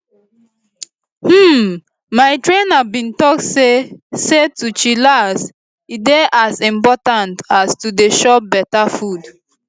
hmm my trainer bin talk say say to chillax e dey as important as to dey chop beta food